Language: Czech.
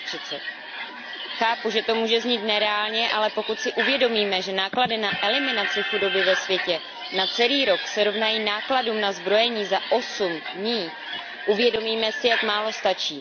2030. Chápu, že to může znít nereálně, ale pokud si uvědomíme, že náklady na eliminaci chudoby ve světě na celý rok se rovnají nákladům na zbrojení za osm dní, uvědomíme si, jak málo stačí.